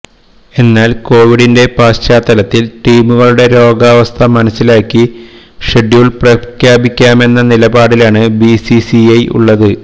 എന്നാല് കോവിഡിന്റെ പശ്ചാത്തലത്തില് ടീമുകളുടെ രോഗാവസ്ഥ മനസിലാക്കി ഷെഡ്യൂള് പ്രഖ്യാപിക്കാമെന്ന നിലപാടിലാണ് ബിസിസിഐ ഉള്ളത്